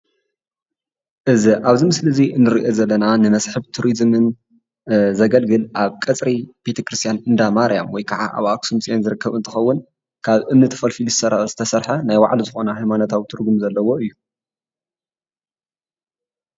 እዚ ኣብዚ ምስሊ እዚ ንሪኦ ዘለና ንመስሕብ ቱሪዝምን ዘገልግል ኣብ ቀፅሪ ቤተ ክርስትያናት እንዳ ማርያም ወይካዓ ኣብ ኣክሱም ፅዮን ዝትከብ እንትከዉን ካብ እምኒ ተፈልፊሉ ዝተሰርሕ ናይ ባዕሉ ዝኮነ ሃይማኖታዊ ትርጉም ዘለዎ እዩ ።